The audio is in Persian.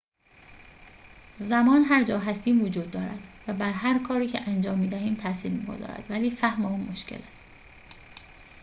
زمان هر جا هستیم وجود دارد و بر هر کاری که انجام می‌دهیم تأثیر می‌گذارد ولی فهم آن مشکل است